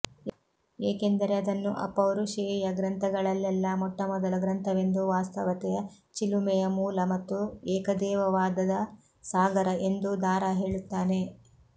ಏಕೆಂದರೆ ಅದನ್ನು ಅಪೌರುಷೇಯ ಗ್ರಂಥಗಳಲೆಲ್ಲಾ ಮೊಟ್ಟಮೊದಲ ಗ್ರಂಥವೆಂದೂ ವಾಸ್ತವತೆಯ ಚಿಲುಮೆಯ ಮೂಲ ಮತ್ತು ಏಕದೇವವಾದದ ಸಾಗರ ಎಂದೂ ದಾರಾ ಹೇಳುತ್ತಾನೆ